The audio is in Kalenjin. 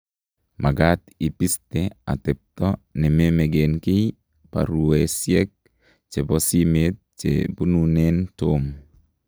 mekat ibiste atebto ne memeken kiy baruesiek chebo simet che bununen Tom